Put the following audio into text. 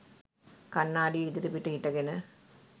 කණ්නාඩිය ඉදිරිපිට හිටගෙන